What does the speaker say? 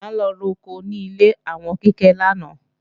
A lọ roko ní ilé àwọn Kíkẹ́ lánàá